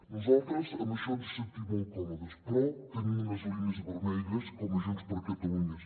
nosaltres amb això ens hi sentim molt còmodes però tenim unes línies vermelles com a junts per catalunya